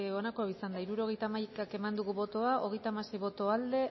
onako izan da hirurogeita hamaika eman dugu bozka hogeita hamasei boto aldekoa